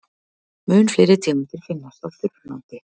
Mun fleiri tegundir finnast á þurru landi.